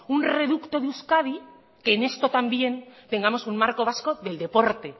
un reducto de euskadi que en esto también tengamos un marco vasco del deporte